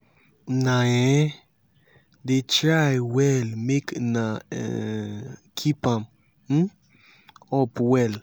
una um dey try well make una um keep am um up well.